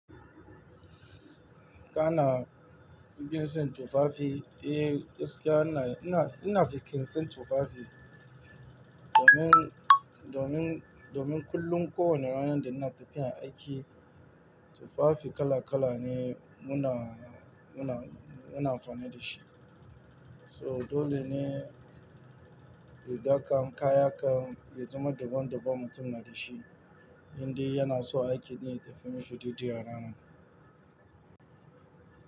Kana fikin sin tufafi, eh gaskiya na, ina, ina fikin sin tufafi domin, domin, domin kullum ko wane ranar da ina tafiya aiki, tufafi kala kala ne muna, muna, muna amfani da shi. So dole ne rigar kam, kaya kam, ya zama daban daban mutum na da shi. Indai yana so aiki ne ya tafi mafi daidai ranar.